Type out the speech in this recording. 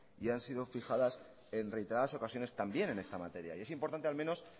y han sido fijadas en reiteradas ocasiones también en esta materia y es importante al menos